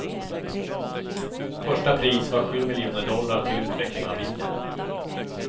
Första pris var sju miljoner dollar till utveckling av bilen.